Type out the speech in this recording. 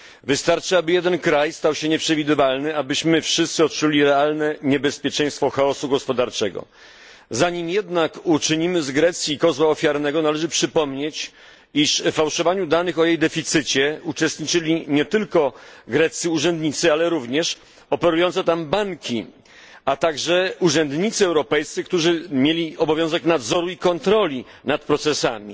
Wystarczy, aby jeden kraj stał się nieprzewidywalny, abyśmy wszyscy odczuli realne niebezpieczeństwo chaosu gospodarczego. Zanim jednak uczynimy z Grecji kozła ofiarnego, należy przypomnieć, iż w fałszowaniu danych o jej deficycie uczestniczyli nie tylko greccy urzędnicy, ale również operujące tam banki, a także urzędnicy europejscy, którzy mieli obowiązek nadzoru i kontroli nad procesami.